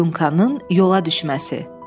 Dunkanın yola düşməsi.